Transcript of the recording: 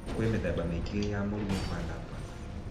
Kwĩ mĩthemba mĩingĩ ya mũrimũ wa lupus.